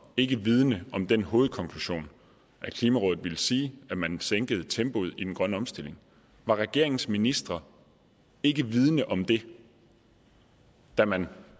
ikke vidende om den hovedkonklusion at klimarådet ville sige at man sænkede tempoet i den grønne omstilling var regeringens ministre ikke vidende om det da man